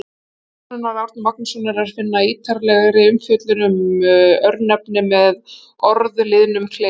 Á vef Stofnunar Árna Magnússonar er að finna ítarlegri umfjöllun um örnefni með orðliðnum-kleif.